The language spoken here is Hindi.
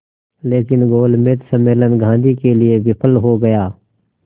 लेकिन गोलमेज सम्मेलन गांधी के लिए विफल हो गया